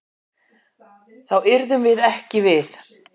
Þá yrðum við ekki við.